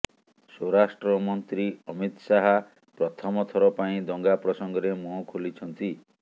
ସ୍ବରାଷ୍ଟ୍ରମନ୍ତ୍ରୀ ଅମିତ ଶାହା ପ୍ରଥମ ଥର ପାଇଁ ଦଙ୍ଗା ପ୍ରସଙ୍ଗରେ ମୁହଁ ଖୋଲିଛନ୍ତି